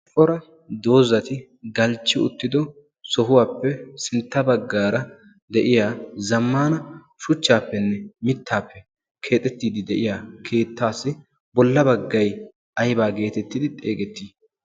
ippora doozzati galchchi uttido sohuwaappe sintta baggaara de'iya zammana shuchchaappenne mittaappe keexettiiddi de'iya keettaassi bolla baggai aibaa geetettidi xeegettii?